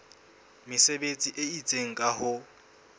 mesebetsi e itseng ka ho